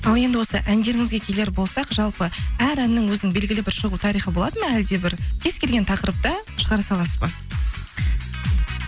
ал енді осы әндеріңізге келер болсақ жалпы әр әннің өзінің белгілі бір шығу тарихы болады ма әлде бір кез келген тақырыпты шығара саласыз ба